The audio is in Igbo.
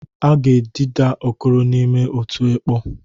A ga-etida Okoro n'ime otu ekpọ.